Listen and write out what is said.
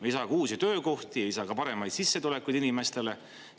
Ei saa ka uusi töökohti, ei saa ka paremaid sissetulekud inimestele.